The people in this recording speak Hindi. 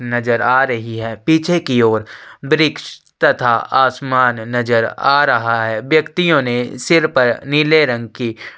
नज़र आ रही है पीछे की और वृक्ष तथा आसमान नज़र आ रहा है व्यक्तियों ने सीर पर नीले रंग की --